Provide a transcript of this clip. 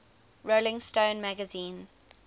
rolling stone magazine